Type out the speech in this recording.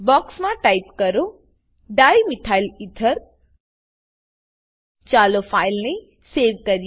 box માં type કરો dimethyl ether dimethyl ether ચાલો ફાઈલ ને સેવ કરીએ